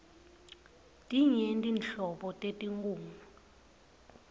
tinyenti nhlobo tetinkhunga